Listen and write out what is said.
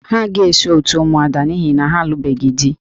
Ha agaghị eso òtù ụmụada n'ihi na ha alụbeghị di